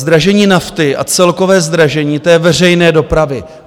Zdražení nafty a celkové zdražení té veřejné dopravy.